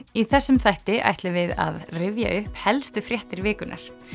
í þessum þætti ætlum við að rifja upp helstu fréttir vikunnar